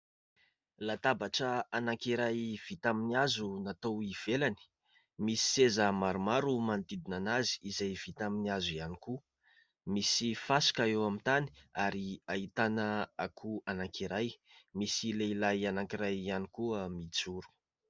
Latabatra anankiray vita amin'ny hazo natao eo ivelany, misy seza maromaro manodidina azy, izay vita amin'ny hazo ihany koa. Misy fasika eo amin'ny tany, ary ahitana akoho anankiray ; misy lehilahy anankiray ihany koa mijoro.